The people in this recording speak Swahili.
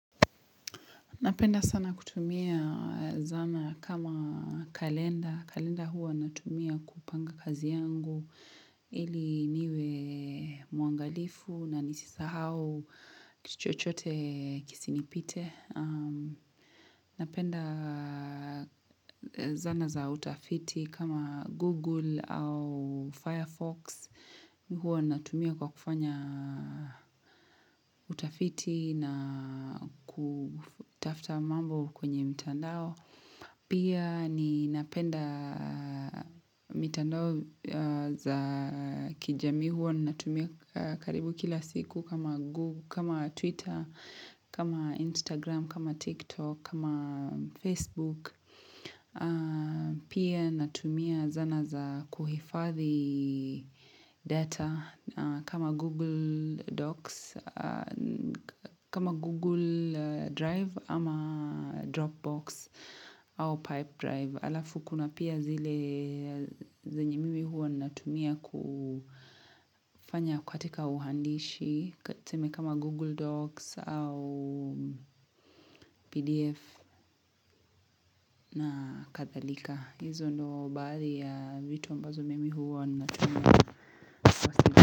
Napenda sana kutumia zana kama kalenda. Kalenda huwa natumia kupanga kazi yangu ili niwe mwangalifu na nisisahau kitu chochote kisinipite. Napenda zana za utafiti kama Google au Firefox Huwa natumia kwa kufanya utafiti na kutafta mambo kwenye mitandao Pia ninapenda mitandao za kijamii Huwa natumia karibu kila siku kama Twitter, kama Instagram, kama TikTok, kama Facebook Pia natumia zana za kuhifadhi data kama Google Docs, kama Google Drive ama Dropbox au Pipe Drive Alafu kuna pia zile zenye mimi huwa natumia kufanya katika uandishi kati tuseme kama google docs au pdf na kadhalika hizo ndo baadhi ya vitu ambazo mimi huwa natumia.